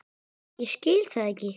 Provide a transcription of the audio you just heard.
Ég skil það ekki!